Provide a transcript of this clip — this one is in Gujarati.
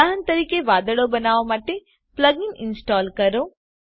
ઉદાહરણ તરીકે વાદળો બનાવવા માટે પ્લગઇન ઇન્સ્ટોલ કરો